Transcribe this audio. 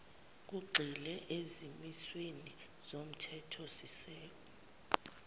lugxile ezimisweni zomthethosisekelo